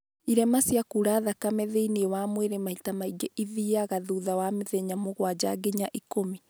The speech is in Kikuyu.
irema cia kura thakame thĩiniĩ wa mwĩrĩ maita maingĩ ithiaga thutha wa mĩthenya mũgwanja nginya ikũmi